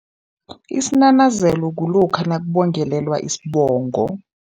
Isinanazelo kulokha nakubongelelwa isibongo.